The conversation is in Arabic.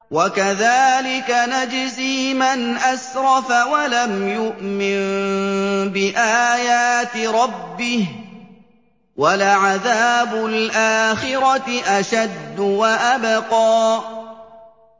وَكَذَٰلِكَ نَجْزِي مَنْ أَسْرَفَ وَلَمْ يُؤْمِن بِآيَاتِ رَبِّهِ ۚ وَلَعَذَابُ الْآخِرَةِ أَشَدُّ وَأَبْقَىٰ